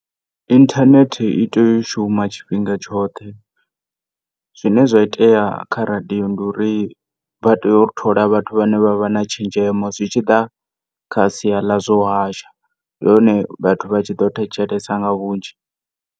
Internet itea shuma tshifhinga tshoṱhe zwine zwine zwaitea kha radio ndi uri vha tea u thola vhathu vhare na tshenzhemo zwitshiḓa kha sia ḽazwa u hasha ndi hone vhathu vhatshi ḓo thetshelesa nga vhunzhi.